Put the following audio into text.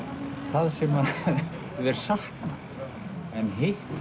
það sem þeir sakna en hitt